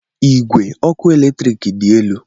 Igwe ọkụ eletrik dị elu.